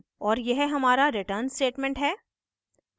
और यह हमारा return statement है